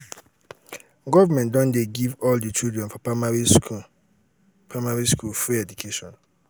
government don give all di children for primary school primary school free education.